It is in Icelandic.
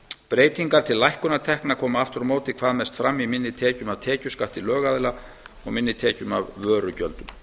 breytingar til lækkunar tekna koma aftur á móti hvað mest fram í minni tekjum af tekjuskatti lögaðila og minni tekjum af vörugjöldum